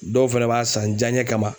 Dɔw fɛnɛ b'a san jaɲɛ kama